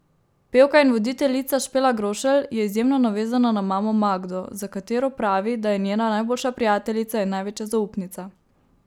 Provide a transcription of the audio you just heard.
Pevka in voditeljica Špela Grošelj je izjemno navezana na mamo Magdo, za katero pravi, da je njena najboljša prijateljica in največja zaupnica.